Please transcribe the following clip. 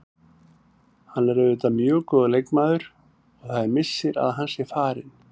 Hann er auðvitað mjög góður leikmaður og það er missir að hann sé farinn.